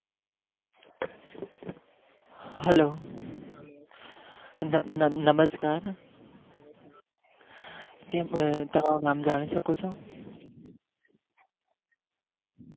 Hello નમસ્કાર તમારું જાણી શકું નામ?